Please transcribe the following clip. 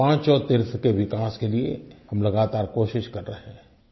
इन पाँचों तीर्थ के विकास के लिए हम लगातार कोशिश कर रहे हैं